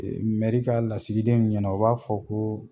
Mɛri ka lasigiden in ɲɛna, u b'a fɔ ko